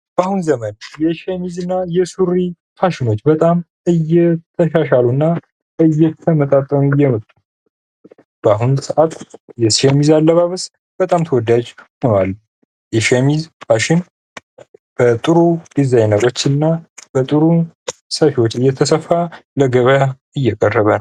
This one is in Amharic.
ባሁኑ ዘመን የሱሩና ሸሚዝ ፋሽኖች በጣም እየተሻሻሉ እየመጡ በአሁኑ ሰእት የሸሚዝ አለባበስ በጣም ተወዳጅ ሆኗል።